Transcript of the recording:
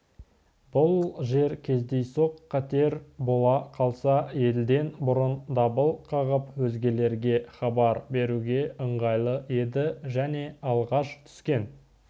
бұл жер кездейсоқ қатер бола қалса елден бұрын дабыл қағып өзгелерге хабар беруге ыңғайлы еді және алғаш түскен